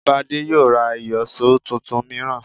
Bádé yóò ra ìyọ̀ṣó tuntun mìíràn